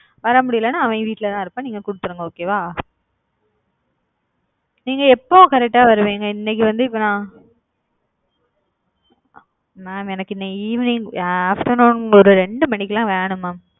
வர முடிலேனா அவன் வீட்டுலதான் இருப்பான் நீங்க குடுத்துருங்க okay வா. நீங்க எப்போ கரெக்ட் அ வருவீங்க இன்னைக்கு வந்து இப்போ நான் mam எனக்கு இன்னைக்கு evening afternoon ஒரு ரெண்டு மணிக்குலாம் வேணும் mam.